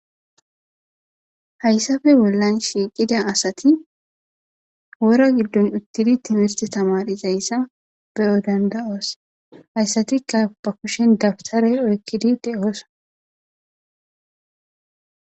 hayssafe bollan shiiqida asati wora giddon uttidi timirte tamarizayssa beyo danda7oos hayssatikka ba kushen dabtare oykkidi de'oosona